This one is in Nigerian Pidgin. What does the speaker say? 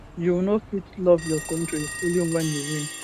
you no fit love your kontri only wen you win